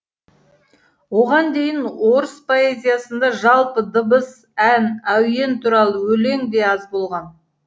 оған дейін орыс поэзиясында жалпы дыбыс ән әуен туралы өлең де аз болған